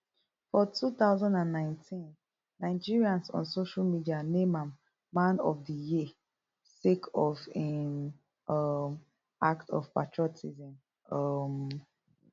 for two thousand and nineteen nigerians on social media name am man of di year sake of im um act of patriotism um